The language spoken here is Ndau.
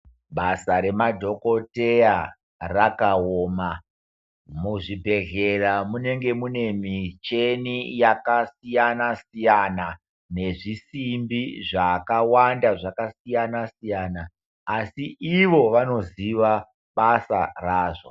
Basa remadhokoteya rakaoma. Muzvibhedhleya munenge mune micheni yakasiyana-siyana. Nezvisimbi zvakawanda zvakasiyana-siyana, asi ivo vanoziva basa razvo.